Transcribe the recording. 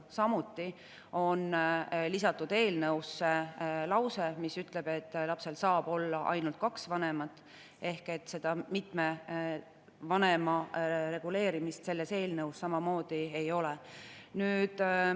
Samuti on eelnõusse lisatud lause, mis ütleb, et lapsel saab olla ainult kaks vanemat, ehk et seda vanemaga reguleerimist selles eelnõus samamoodi ei ole.